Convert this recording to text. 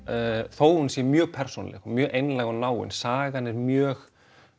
þó hún sé mjög persónuleg og mjög einlæg og náin sagan er mjög